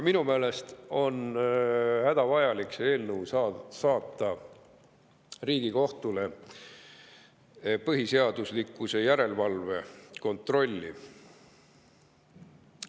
Minu meelest on hädavajalik see eelnõu saata Riigikohtule põhiseaduslikkuse järelevalve kontrolliks.